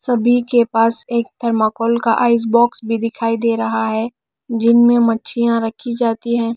सभी के पास एक थर्माकोल का आइस बॉक्स भी दिखाई दे रहा है जिनमें मच्छियां रखी जाती हैं।